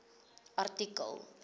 artikel